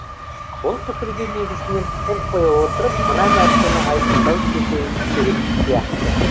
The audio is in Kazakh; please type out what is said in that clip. бұл пікірге негізінен қол қоя отырып мына нәрсені айқындай кету керек сияқты